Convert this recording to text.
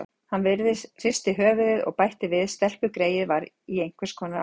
Hann hristi höfuðið og bætti við: Stelpugreyið var í einhvers konar áfalli.